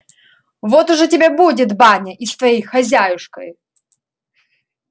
вот ужо тебе будет баня и с твоею хозяюшкою